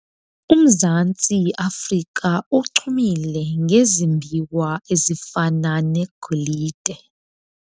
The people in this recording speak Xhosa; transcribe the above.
Umzantsi Afrika uchumile ngezimbiwa ezifana negolide.